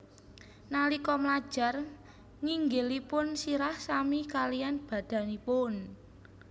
Nalika mlajar nginggilipun sirah sami kaliyan badanipun